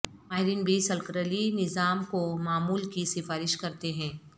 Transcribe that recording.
ماہرین بھی سرکلری نظام کو معمول کی سفارش کرتے ہیں